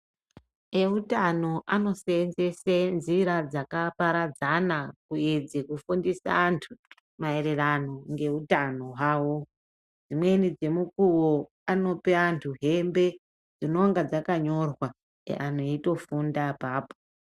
E utano ano senzese nzira dzaka paradzana kuedze kufundisa antu ma ererano nge utano hwawo dzimweni dze mukuwo anope antu hembe dzinonga dzakanyorwa antu eyito funda apapo.